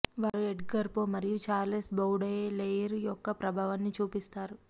వారు Edgar Poe మరియు Charles Baudelaire యొక్క ప్రభావాన్ని చూపిస్తారు